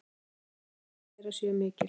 Sjónræn áhrif þeirra séu mikil.